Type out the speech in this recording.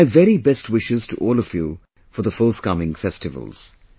My very best wishes to all of you for the forthcoming festivals